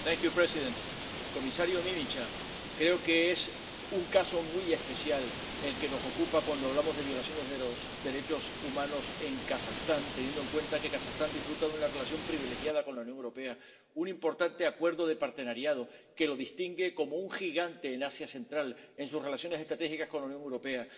Señor presidente, comisario Mimica, creo que es un caso muy especial el que nos ocupa cuando hablamos de violaciones de los derechos humanos en Kazajistán, teniendo en cuenta que Kazajistán disfruta de una relación privilegiada con la Unión Europea, un importante acuerdo de asociación que lo distingue como un gigante en Asia Central en sus relaciones estratégicas con la Unión Europea.